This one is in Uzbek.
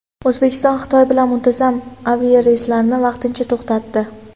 O‘zbekiston Xitoy bilan muntazam aviareyslarni vaqtincha to‘xtatdi.